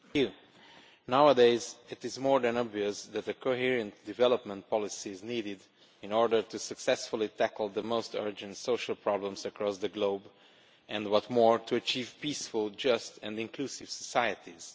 Mr President, nowadays it is more than obvious that a coherent development policy is needed in order to successfully tackle the most urgent social problems across the globe and, what is more, to achieve peaceful, just and inclusive societies.